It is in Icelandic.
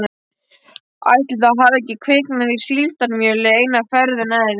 Ætli það hafi ekki kviknað í síldarmjöli eina ferðina enn